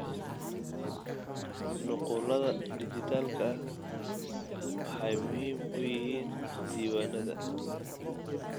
Nuqullada dhijitaalka ah waxay muhiim u yihiin diiwaannada.